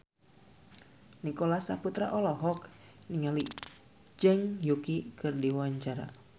Nicholas Saputra olohok ningali Zhang Yuqi keur diwawancara